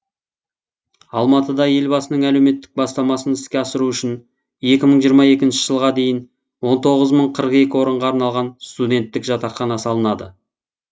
алматыда елбасының әлеуметтік бастамасын іске асыру үшін екі мың жиырма екінші жылға дейін он тоғыз мың қырық екі орынға арналған студенттік жатақхана салынады